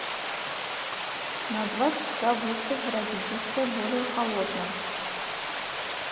на два часа выставь в родительской более холодным